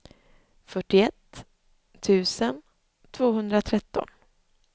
fyrtioett tusen tvåhundratretton